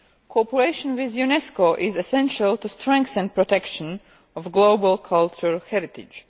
Cooperation with UNESCO is essential to strengthen the protection of global cultural heritage.